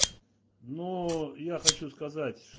но я хочу сказать